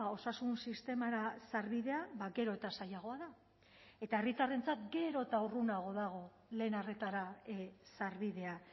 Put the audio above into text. osasun sistemara sarbidea gero eta zailagoa da eta herritarrentzat gero eta urrunago dago lehen arretara sarbidea